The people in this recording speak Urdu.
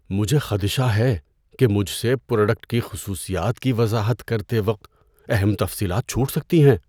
مجھے خدشہ ہے کہ مجھ سے پروڈکٹ کی خصوصیات کی وضاحت کرتے وقت اہم تفصیلات چھوٹ سکتی ہیں۔